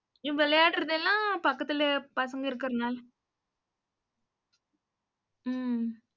இவங்க விளையாடுறது எல்லாம், பக்கத்துல பசங்க இருக்கிறதுனால உம்